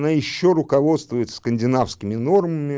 но ещё руководствуются скандинавскими нормами